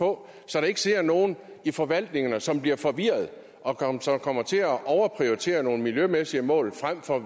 på så der ikke sidder nogen i forvaltningerne som bliver forvirrede og kommer til at overprioritere nogle miljømæssige mål frem for